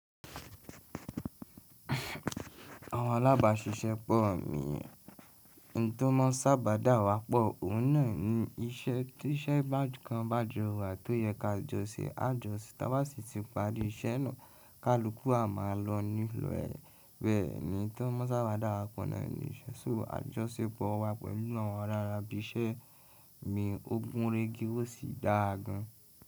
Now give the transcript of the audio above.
Àwọn alábàáṣiṣẹ́ pọ̀ mí, ohun tó mọ́ sábà dá wa pọ̀, òun náà ni iṣẹ́ tí iṣẹ́ kan bá jọra tó yẹ ká jọṣẹ, a jọ́ṣì tàbí àṣì tí ìparí iṣẹ́ náà ká lókù a máa lọ nílọ̀ ẹ́ bẹ́ẹ̀ ni ntó maa n sábà dá wa pọ̀ náà nìyẹn. Ṣò àjọ́sepọ̀ wá pẹ̀lú àwọn rárà bí iṣẹ́ mi, ó gúnregí ó sì dáa gan.